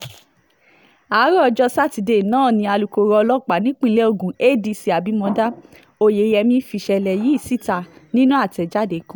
àárọ̀ ọjọ́ sátidé náà ni alūkkoro ọlọ́pàá nípínlẹ̀ ogun adc abimodá oyeyẹmí fìṣẹ̀lẹ̀ yìí síta nínú àtẹ̀jáde kan